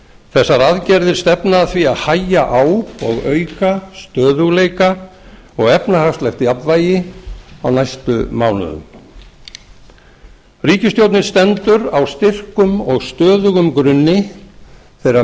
þessar aðgerðir stefna að því að hægja á og auka stöðugleika og efnahagslegt jafnvægi á næstu mánuðum ríkisstjórnin stendur á styrkum og stöðugum grunni þeirra